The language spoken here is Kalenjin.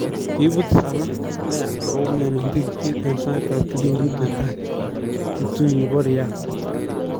Kiibut Salah neya ak koumian en tigikyet en sait ab kipindit ne tai kiptui botoi nebo Real